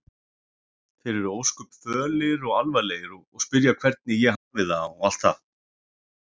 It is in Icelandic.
Þeir eru ósköp fölir og alvarlegir og spyrja hvernig ég hafi það og allt það.